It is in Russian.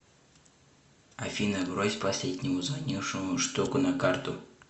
афина брось последнему звонившему штуку на карту